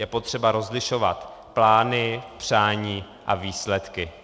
Je potřeba rozlišovat plány, přání a výsledky.